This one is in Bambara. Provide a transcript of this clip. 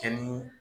Kɛ ni